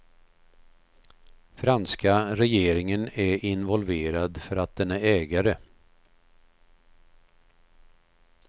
Franska regeringen är involverad för att den är ägare.